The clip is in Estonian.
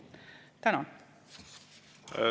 Tänan!